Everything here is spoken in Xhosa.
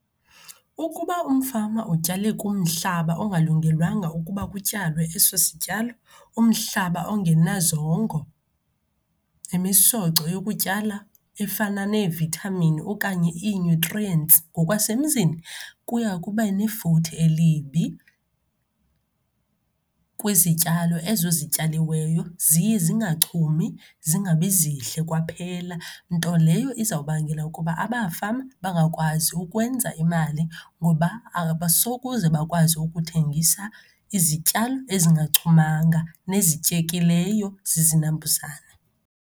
Ukuba umfama utyale kumhlaba ongalungelwanga ukuba kutyalwe eso sityalo, umhlaba ongenazongo, imisoco yokutyala efana neevithamini okanye i-nutrients ngokwasemzini, kuya kuba nefuthe elibi kwizityalo ezo zityaliweyo, ziye zingachumi, zingabi zihle kwaphela. Nto leyo izawubangela ukuba abafama bangakwazi ukwenza imali ngoba abasokuze bakwazi ukuthengisa izityalo ezingachumanga nezityekileyo zizinambuzane.